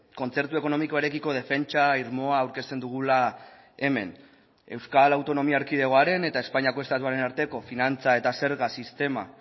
kontzertu ekonomikoarekiko defentsa irmoa aurkezten dugula hemen euskal autonomia erkidegoaren eta espainiako estatuaren arteko finantza eta zerga sistema